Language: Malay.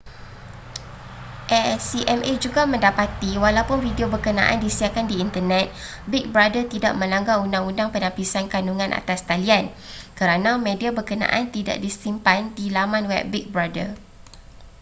acma juga mendapati walaupun video berkenaan disiarkan di internet big brother tidak melanggar undang-undang penapisan kandungan atas talian kerana media berkenaan tidak disimpan di laman web big brother